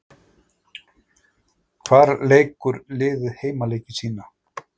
Hvar leikur liðið heimaleiki sína?